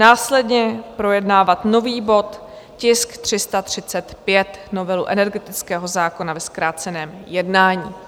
Následně projednávat nový bod, tisk 335, novelu energetického zákona ve zkráceném jednání.